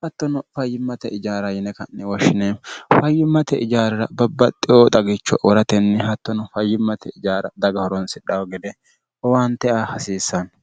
hattono fayyimmate ijaara yine kanni woshshineemmo fayyimmate ijaarira babbaxxeyoo xagicho woratenni hattono fayyimmate ijaara daga horonsidhaho gede owaante a hasiissanni